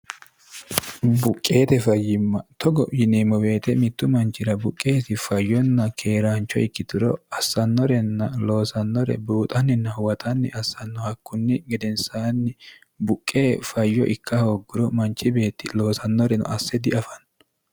buqqeete fayyimma togo yiniimmo beete mittu manchira buqqeesi fayyonna keeraancho ikkituro assannorenna loosannore buuxanninna huwaxanni assannohakkunni gedensaanni buqqe fayyo ikka hoogguro manchi beetti loosannoreno asse diafanno